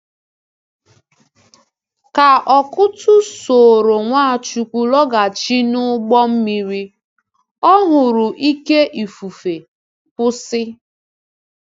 Ka Ọkụ́tụ̀ soro Nwachukwu lọghachi n’ụgbọ mmiri, ọ hụrụ ìké ifufe kwụsị.